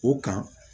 O kan